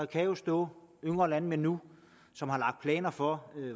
kan jo stå yngre landmænd nu som har lagt planer for